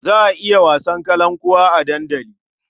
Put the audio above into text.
Za a yi wasan kalankuwa a dandali.